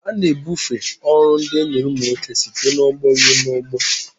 A na-ebufe ọrụ ndị e nyere ụmụ nwoke site n'ọgbọ ruo n'ọgbọ.